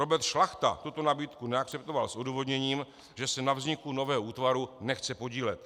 Robert Šlachta tuto nabídku neakceptoval s odůvodněním, že se na vzniku nového útvaru nechce podílet.